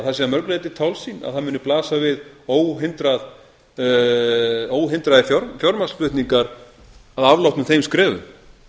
að það sé að mörgu leyti tálsýn að það muni blasa við óhindraðir fjármagnsflutningar að afloknum þeim skrefum